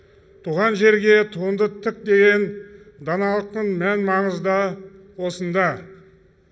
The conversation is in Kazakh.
туған жерге туыңды тік деген даналықтың мән маңызы да осында